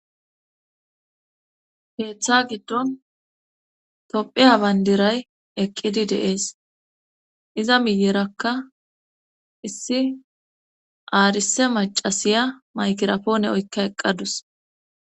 Keeththa giddon topheya bayndiray eqqidi de'ees iza miyerakka issi aarise macasiya maykirapoone oykka eqqadus